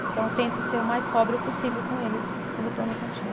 Então, eu tento ser o mais sóbrio possível com eles quando eu estou na cantina.